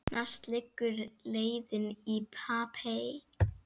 Næst liggur leiðin í Papey.